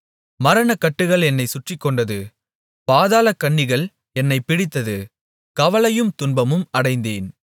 மரணக்கட்டுகள் என்னைச் சுற்றிக்கொண்டது பாதாளக் கண்ணிகள் என்னைப் பிடித்தது கவலையும் துன்பமும் அடைந்தேன்